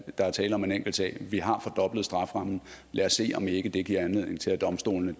der er tale om en enkelt sag vi har fordoblet strafferammen lad os se om ikke det giver anledning til at domstolene